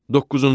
Doqquzuncu.